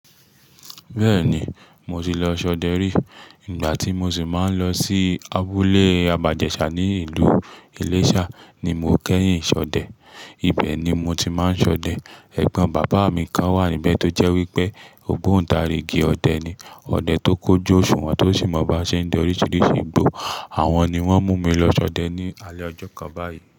Bẹ́ẹ̀ni, mo ti lọ ṣọdẹ rí. Nígbà tí mo sì máa ń lọ sí abúlé Abajẹṣà ní ìlú Iléṣà ni mo kẹ́yìn ṣọdẹ. Ibẹ̀ ni mo ti máa ń ṣọdẹ. Ẹ̀gbọ́n bàbá mi kan wà níbẹ̀ tó jẹ́ wípé ògbóntarìgì ọdẹ ni. Ọdẹ tó kójú òṣùwọ̀n tó sì mọ bá ṣe ń dẹ ọríṣiríṣi igbó. Àwọn ni wọ́n mú mi lọ ṣọdẹ ní alẹ́ ọjọ́ kan báyìí.